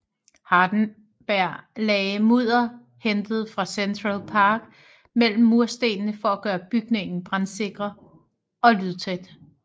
Hardenbergh lagde mudder hentet fra Central Park mellem murstenene for at gøre bygningen brandsikker og lydtæt